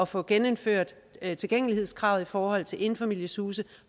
få genindført tilgængelighedskravet i forhold til enfamilieshuse